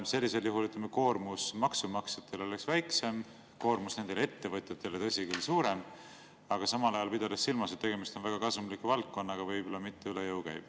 Sellisel juhul, ütleme, maksumaksjate koormus oleks väiksem, koormus nendele ettevõtjatele, tõsi küll, oleks suurem, aga samal ajal, pidades silmas, et tegemist on väga kasumliku valdkonnaga, võib-olla mitte üle jõu käiv.